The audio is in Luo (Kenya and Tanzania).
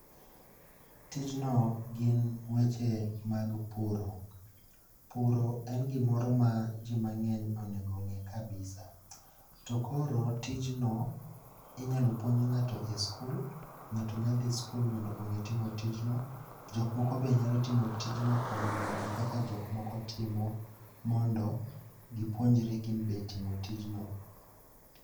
Tijno gin weche mag puro. Puro en gimoro ma ji mang'eny onego ong'e kabisa to koro tijno inyalo puonj ng'ato e sikul, ng'ato nyalo dhi e sikul mondo ong'e tijno. Jok moko bende nyalo timo tjno kuom neno kaka jok moko timo tijno mondo gipuonjre gibende timo tijno.